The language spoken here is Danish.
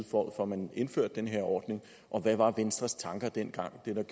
for at man indførte den her ordning og hvad var venstres tanker dengang hvad